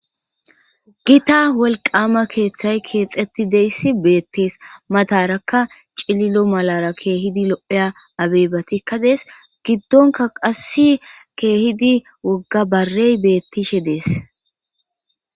Gita wolqaama keeththay keexetti deyssi beettees matarakka cililo malara keehidi lo'eya abeebatikka dees giddonka qassi keehidi wogga barey bettishe dees.